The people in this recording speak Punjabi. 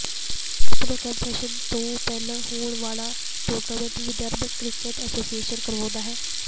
ਬਾਪੁਨਾ ਕੱਪ ਸੈਸ਼ਨ ਤੋਂ ਪਹਿਲਾਂ ਹੋਣ ਵਾਲਾ ਟੂਰਨਾਮੈਂਟ ਜੋ ਵਿਦਰਭ ਕ੍ਰਿਕਟ ਐਸੋਸੀਏਸ਼ਨ ਕਰਵਾਉਂਦਾ ਹੈ